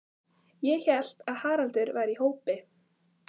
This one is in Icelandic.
Ég hélt að Haraldur væri í hópi